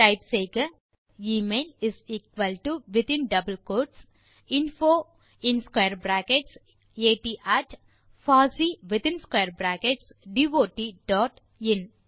type செய்க email is equal to within quotes double quotes info in square brackets at பின் பாசி பின் மீண்டும் ஸ்க்வேர் பிராக்கெட் பாஸ் பின் டாட் பின் இன்